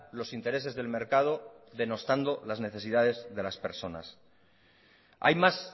los intereses del mercado denostando las necesidades de las personas hay más